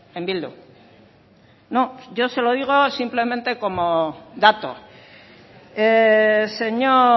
en bildu no yo se lo digo simplemente como dato señor